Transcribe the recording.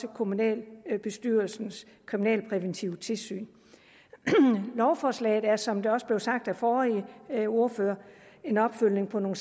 af kommunalbestyrelsens kriminalpræventive tilsyn lovforslaget er som det også blev sagt af den forrige ordfører en opfølgning på nogle